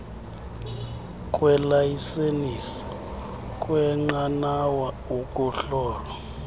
kweelayisenisi kweenqanawa ukuhlolwa